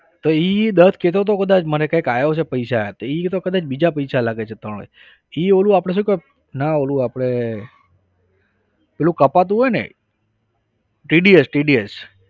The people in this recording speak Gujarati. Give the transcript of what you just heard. તો એ દત્ત કહેતો હતો કદાચ મને કંઈક આવ્યા છે પૈસા એ તો કદાચ બીજા પૈસા લાગે છે ત્રણ એ ઓંલું આપણે શું કહેવાય ના ઓંલું આપણે પેલું કપાતું હોય ને TDSTDS